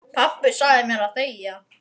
Því er óhætt að lofa.